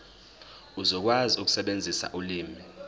uzokwazi ukusebenzisa ulimi